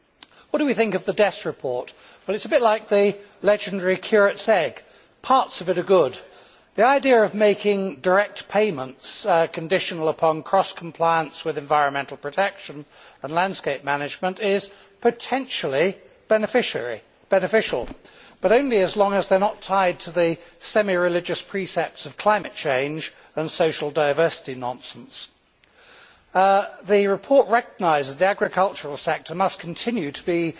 What do we think of the Dess report? Well it is a bit like the legendary curate's egg. Parts of it are good. The idea of making direct payments conditional upon cross compliance with environmental protection and landscape management is potentially beneficial, but only as long as they are not tied to the semi religious precepts of climate change and social diversity nonsense. The report recognises that the agricultural sector must continue to